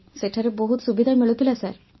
ସେଠାରେ ବହୁତ ସୁବିଧା ମିଳୁଥିଲା ସାର୍